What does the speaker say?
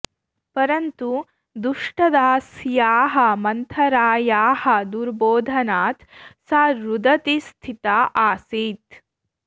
परन्तु दुष्टदास्याः मन्थरायाः दुर्बोधनात् सा रुदती स्थिता आसीत्